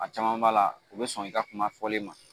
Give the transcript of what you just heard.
A caman b'a la u bɛ sɔn i ka kuma fɔlen ma